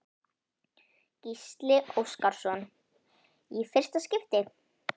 Gísli Óskarsson: Í fyrsta skipti?